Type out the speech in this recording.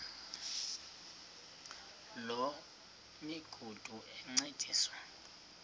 loo migudu encediswa